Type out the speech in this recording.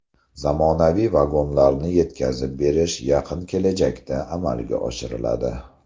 Zamonaviy vagonlarni yetkazib berish yaqin kelajakda amalga oshiriladi.